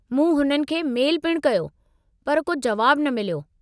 मूं हुननि खे मेल पिणु कयो, पर को जुवाबु न मिलियो।